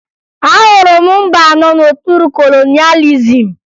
Ahụrụ m mba nọ n'okpuru kolonịalizim